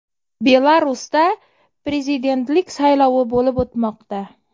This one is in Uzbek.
Belarusda prezidentlik saylovi bo‘lib o‘tmoqda .